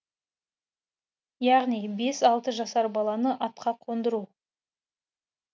яғни бес алты жасар баланы атқа қондыру